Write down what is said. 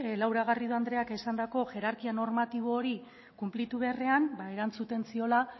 laura garrido andreak esandako hierarkia normatibo hori kunplitu beharrean erantzuten ziola